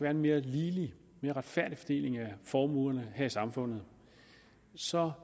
en mere ligelig og retfærdig fordeling af formuerne her i samfundet så